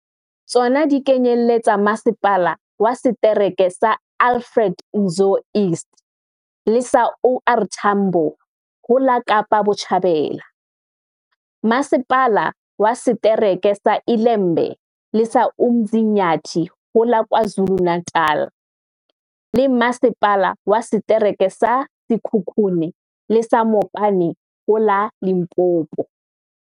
Tsona di kenyelletsa Masepala wa Setereke sa Alfred Nzo East le sa OR Tambo ho la Kapa Botjhabela, Masepala wa Se tereke sa ILembe le sa UMzi nyathi ho la KwaZulu-Na tal, le Masepala wa Setereke sa Sekhukhune le sa Mopani ho la Limpopo.